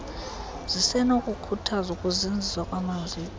zisenokukhuthazwa ukuzinziswa kwamaziko